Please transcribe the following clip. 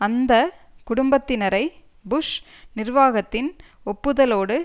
அந்த குடும்பத்தினரை புஷ் நிர்வாகத்தின் ஒப்புதலோடு